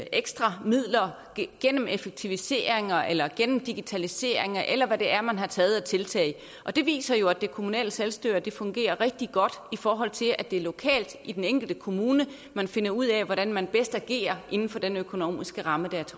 ekstra midler gennem effektiviseringer eller gennem digitalisering eller hvad det er man har taget af tiltag og det viser jo at det kommunale selvstyre fungerer rigtig godt i forhold til at det er lokalt i den enkelte kommune man finder ud af hvordan man bedst agerer inden for den økonomiske ramme